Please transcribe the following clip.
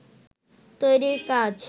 তৈরির কাজ